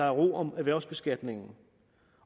ro om erhvervsbeskatningen